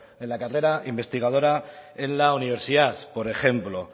en la carrera investigadora en la universidad por ejemplo